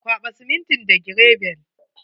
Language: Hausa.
Kwaɓa simintin da gravel.